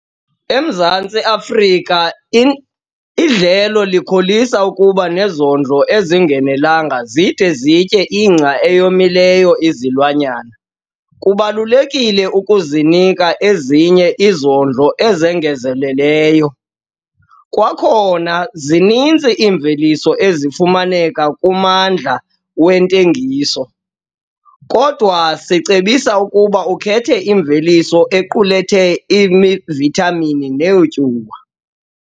EMzantsi Afrika, idlelo likholisa ukuba nezondlo ezinganelanga zide zitye ingca eyomileyo izilwanyana, kubalulekile ukuzinika ezinye izondlo ezongezelelwayo. Kwakhona, zininzi iimveliso ezifumaneka kummandla wentengiso, kodwa sicebisa ukuba ukhethe imveliso equlethe iivithamini neetyuwa.